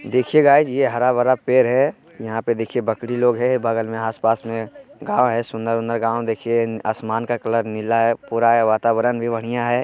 देखिये गाइस ये हरा-भरा पेड़ है यहां पे देखिये बकरी लोग है बगल में आसपास में गांव है सुंदर उंदर गांव देखिये आसमान का कलर नीला है पूरा ए वातावरण भी बढ़िया है।